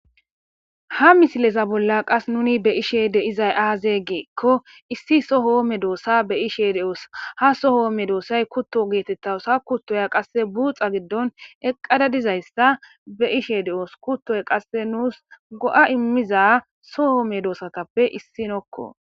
Ha misileza bolla qas nuni be ishe de izay aaze geekko issi sohoome doossa be ishe de'oos ha sohoome doossay kutto geetettawusha kuttoya qasse buuxa giddon eqqada dizayssa be ishe de'oos kuttoy qasse nuus go'a immiza sohoome doossatappe issinokko